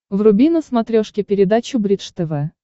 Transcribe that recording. вруби на смотрешке передачу бридж тв